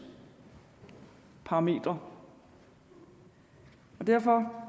parametre derfor